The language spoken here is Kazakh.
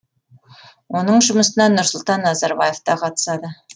оның жұмысына нұрсұлтан назарбаев та қатысады